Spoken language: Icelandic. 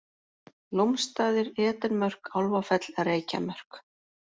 Lómsstaðir, Edenmörk, Álfafell, Reykjamörk